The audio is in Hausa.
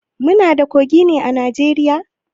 Muna da kogi ne a Najeriya?